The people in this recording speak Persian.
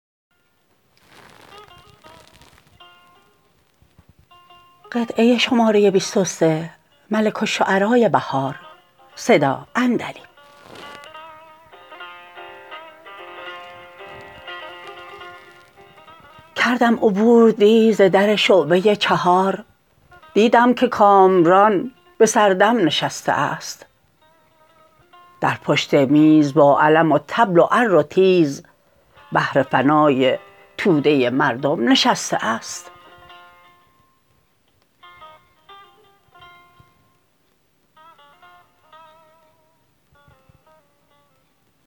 کردم عبور دی ز در شعبه چهار دیدم که کامران بسردم نشسته است در پشت میز با علم و طبل و عر و تیز بهر فنای توده مردم نشسته است